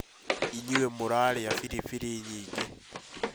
Inyue mũrarĩa firifiri nyingĩ